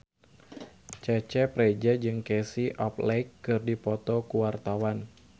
Cecep Reza jeung Casey Affleck keur dipoto ku wartawan